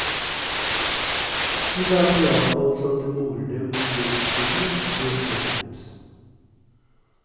De later iallfall som det morer dem noe vederstyggelig, det som er hendt.